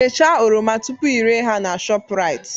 Bechaa oroma tupu ị re ha na Shoprite